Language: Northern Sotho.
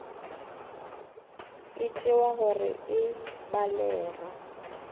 e tšewa gore e balega